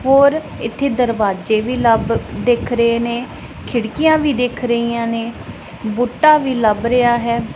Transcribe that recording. ਹੋਰ ਇੱਥੇ ਦਰਵਾਜੇ ਵੀ ਲੱਭ ਦਿਖ ਰਹੇ ਨੇ ਖਿੜਕੀਆਂ ਵੀ ਦਿਖ ਰਹੀਆਂ ਨੇ ਬੂਟਾ ਵੀ ਲੱਭ ਰਿਹਾ ਹੈ।